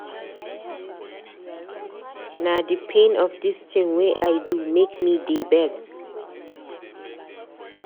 Na di pain of di tin wey I do make me dey beg.